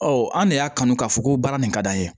Ɔ an de y'a kanu k'a fɔ ko baara nin ka d'an ye